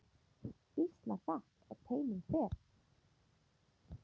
Býsna hratt á teinum fer.